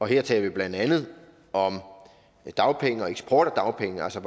her taler vi blandt andet om dagpenge og eksport af dagpenge altså